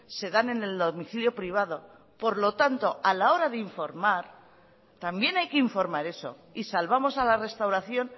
se dan en el domicilio privado por lo tanto a la hora de informar también hay que informar eso y salvamos a la restauración